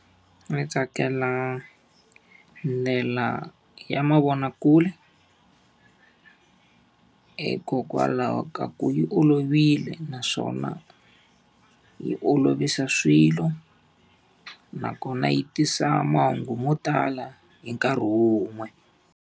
Ni tsakela ndlela ya mavonakule hikokwalaho ka ku yi olovile naswona, yi olovisa swilo nakona yi tisa mahungu mo tala hi nkarhi wun'we.